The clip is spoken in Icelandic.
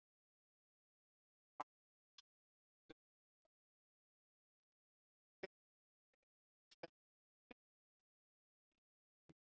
Vagninn var kúffullur af krökkum og leyndi sér ekki nýfætt brjálæðið í svipnum.